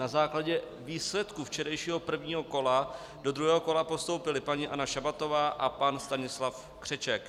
Na základě výsledků včerejšího prvního kola do druhého kola postoupili paní Anna Šabatová a pan Stanislav Křeček.